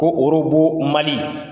Ko Orobo Mali.